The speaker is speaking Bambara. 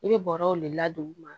I bɛ bɔrɔw de ladon